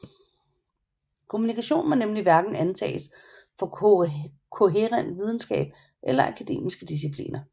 Kommunikation må nemlig hverken antages for kohærent videnskab eller akademiske discipliner